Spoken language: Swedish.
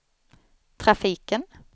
trafiken